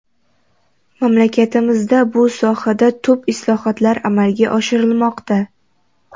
Mamlakatimizda bu sohada tub islohotlar amalga oshirilmoqda.